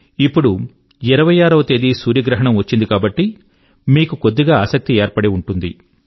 ఇప్పుడు 26 వ తేది సూర్యగ్రహణం వచ్చింది కాబట్టి మీకు కొద్దిగా ఆసక్తి ఏర్పడి ఉంటుంది